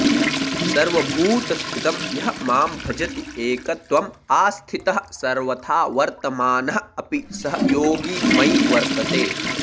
सर्वभूतस्थितं यः मां भजति एकत्वम् आस्थितः सर्वथा वर्तमानः अपि सः योगी मयि वर्तते